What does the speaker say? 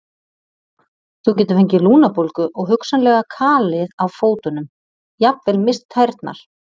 Þú getur fengið lungnabólgu og hugsanlega kalið á fótunum, jafnvel misst tærnar.